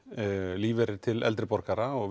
lífeyrir til eldri borgara og